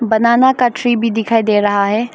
बनाना का ट्री भी दिखाई दे रहा है।